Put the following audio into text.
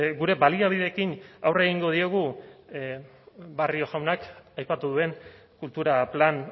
gure baliabideekin aurre egingo diogu barrio jaunak aipatu duen kultura plan